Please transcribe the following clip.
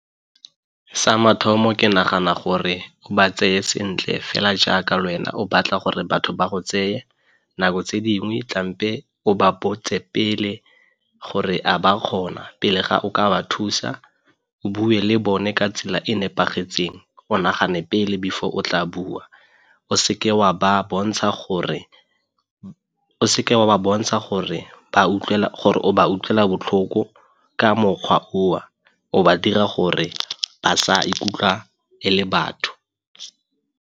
Sa mathomo ke nagana gore o ba tseye sentle fela jaaka le wena o batla gore batho ba go tseye nako tse dingwe o ba botse pele gore a ba kgona pele ga o ka ba thusa, o bue le bone ka tsela e nepagetseng, o nagane pele before o tla bua, o seke wa ba bontsha gore o ba utlwela botlhoko ka mokgwa oo o ba dira gore ba sa ikutlwa e le batho.